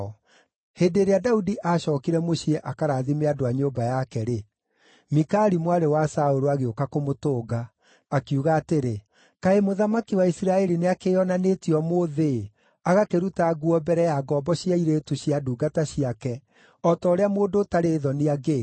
Hĩndĩ ĩrĩa Daudi aacookire mũciĩ akarathime andũ a nyũmba yake-rĩ, Mikali mwarĩ wa Saũlũ agĩũka kũmũtũnga, akiuga atĩrĩ, “Kaĩ mũthamaki wa Isiraeli nĩakĩĩonanĩtie ũmũthĩ-ĩ, agakĩruta nguo mbere ya ngombo cia airĩtu cia ndungata ciake, o ta ũrĩa mũndũ ũtarĩ thoni angĩĩka!”